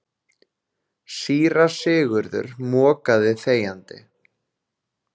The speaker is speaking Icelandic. Síra Sigurður mokaði þegjandi.